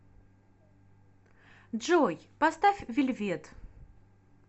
джой поставь вельвет